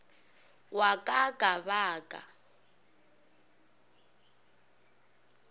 wa ka ka ba ka